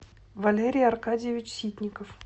валерий аркадьевич ситников